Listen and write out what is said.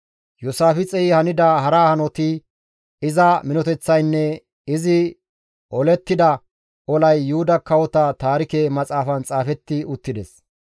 Iyoosaafixey hanida hara hanoti, iza minoteththaynne izi olettida olay Yuhuda kawota taarike maxaafan xaafetti uttides.